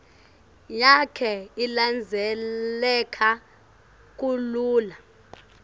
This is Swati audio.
yakhe ilandzeleka kalula